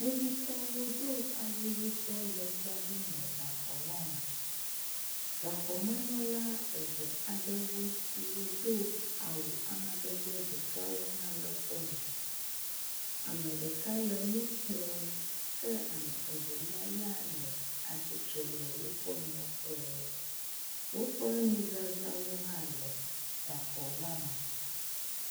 Kpovitɔwo do awu yibɔ le tsa ɖim le gaxɔ la me. Gaxɔmenɔla eve aɖe siwo do awu amadede ɖeka hã le exɔa me. Ame ɖeka le nu kplɔm eye ame evelia ya le atsitre le woƒe mlɔƒe. Woƒe nuzazãwo hã le gaxɔ la me.